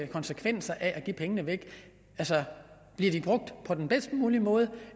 konsekvenserne af at give pengene væk bliver de brugt på den bedst mulige måde